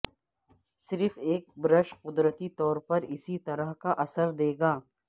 صرف ایک برش قدرتی طور پر اسی طرح کا اثر دے گا